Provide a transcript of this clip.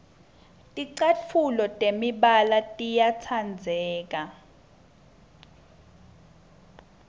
ticatfuco temibala tiyatsandzeka